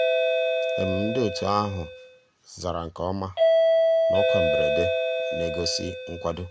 ndị́ ótú àhụ́ zàrà nkè ọ́má ná ọ́kwá mbérèdé ná-ègósì nkwàdó.